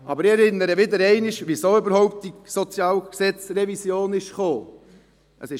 Aber ich erinnere wieder einmal daran, weshalb es überhaupt zu dieser Revision des SHG gekommen ist.